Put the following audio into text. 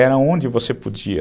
Era onde você podia...